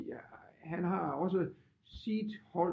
Fordi han har også sit hold